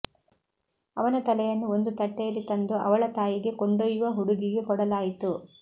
ಅವನ ತಲೆಯನ್ನು ಒಂದು ತಟ್ಟೆಯಲ್ಲಿ ತಂದು ಅವಳ ತಾಯಿಗೆ ಕೊಂಡೊಯ್ಯುವ ಹುಡುಗಿಗೆ ಕೊಡಲಾಯಿತು